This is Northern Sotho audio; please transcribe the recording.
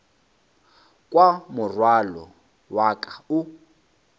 kwa morwalo wa ka o